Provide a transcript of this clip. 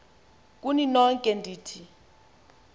kuni nonke ndithi